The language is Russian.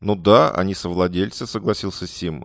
ну да они совладельци согласился сим